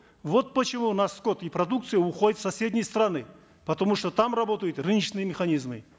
вот почему у нас скот и продукция уходят в соседние страны потому что там работают рыночные механизмы